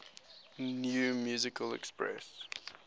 new musical express